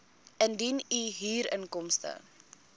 indien u huurinkomste